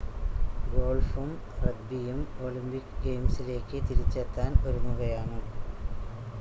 ഗോൾഫും റഗ്‌ബിയും ഒളിമ്പിക് ഗെയിംസിലേക്ക് തിരിച്ചെത്താൻ ഒരുങ്ങുകയാണ്